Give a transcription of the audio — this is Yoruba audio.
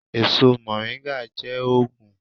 Èso Moringa jé òògùn.